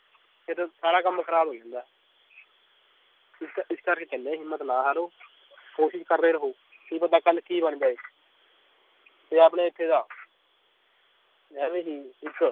ਸਾਰਾ ਕੰਮ ਖਰਾਬ ਹੋਈ ਜਾਂਦਾ ਇਕ ਇਸ ਕਰਕੇ ਕਹਿੰਨੇ ਏ ਹਿੰਮਤ ਨਾ ਹਾਰੋ ਕੋਸ਼ਿਸ਼ ਕਰਦੇ ਰਹੋ ਕੀ ਪਤਾ ਕੱਲ ਕੀ ਬਣ ਜਾਏ ਤੇ ਆਪਣੇ ਇਥੇ ਦਾ ਐਵੇਂ ਹੀ ਇੱਕ